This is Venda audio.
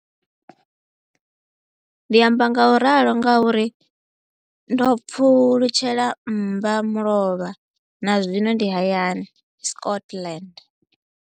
Ndi amba ngauralo nga uri ndo pfulutshela mmba mulovha na zwino ndi hayani, Scotland.